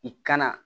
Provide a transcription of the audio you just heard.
I kana